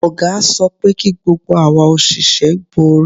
Ọ̀gá sọ pé kí gbogbo awa òṣìṣẹ́ bo orí